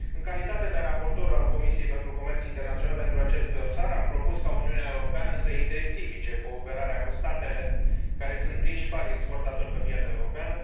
În calitate de raportor pentru aviz din partea Comisiei pentru comerț internațional pentru acest dosar, am propus ca Uniunea Europeană să intensifice cooperarea cu statele care sunt principalii exportatori pe piața europeană.